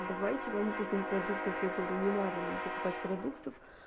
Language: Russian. давайте вам купим продуктов я говорю не надо нам покупать продуктов